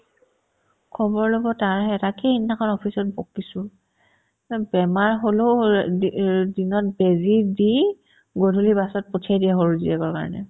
খবৰ ল'ব তাই আহে তাকেই সেইদিনাখন office ত বকিছো অ বেমাৰ হ'লেও দিনত বেজি দি গধূলি বাছত পঠিয়াই দিয়ে সৰু জীয়েকৰ কাৰণে